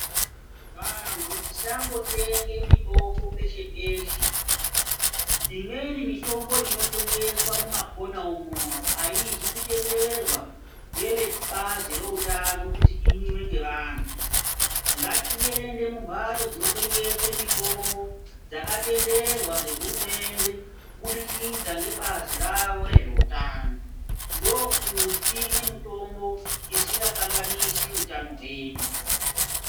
Vantu tisangotenge mitombo peshe peshe, imweni mitombo inotengeswa mumakona umwo haizi kutenderwa ngeve bazi reutano kuti imwiwe ngevantu, ngatiende mumbatso dzinotengeswe mutombo, dzakatenderwa ngehurumende kubudikidza ngebazi ravo rezveutano ndoo kuti timwe mitombo isinga kanganisi utano wedu.